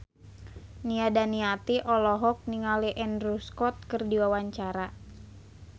Nia Daniati olohok ningali Andrew Scott keur diwawancara